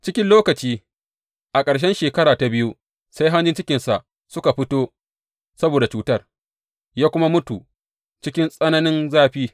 Cikin lokaci, a ƙarshen shekara ta biyu, sai hanjin cikinsa suka fito saboda cutar, ya kuma mutu cikin tsananin zafi.